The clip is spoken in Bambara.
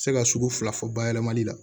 Se ka sugu fila fɔ bayɛlɛmali la